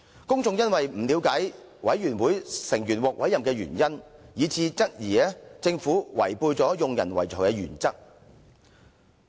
公眾因為不了解委員會成員獲委任原因，以致質疑政府違背用人唯才的原則"。